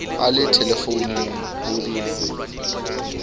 a le thelefounung ho di